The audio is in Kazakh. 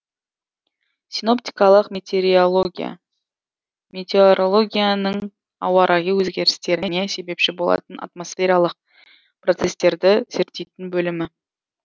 синоптикалық метеорология метеорологияның ауа райы өзгерістеріне себепші болатын атмосфералық процестерді зерттейтін бөлімі